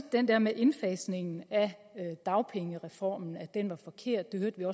den der med at indfasningen af dagpengereformen var forkert det hørte